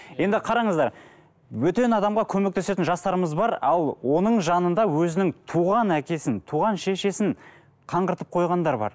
енді қараңыздар бөтен адамға көмектесетін жастарымыз бар ал оның жанында өзінің туған әкесін туған шешесін қаңғыртып қойғандар бар